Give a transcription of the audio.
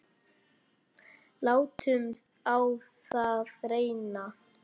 Látum á það reyna.